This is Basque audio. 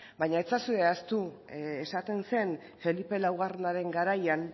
baina ez ezazue ahaztu esaten zen felipe laugarrenaren garaian